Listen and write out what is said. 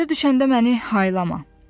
Ayrı düşəndə məni haylama.